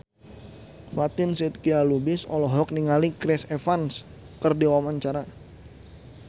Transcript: Fatin Shidqia Lubis olohok ningali Chris Evans keur diwawancara